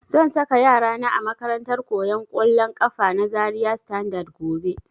Zan saka yara na a makarantar koyan kollon kafa na Zaria Standard gobe